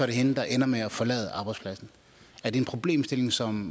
det hende der ender med at forlade arbejdspladsen er det en problemstilling som